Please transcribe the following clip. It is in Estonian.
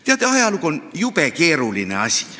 Teate, ajalugu on jube keeruline asi.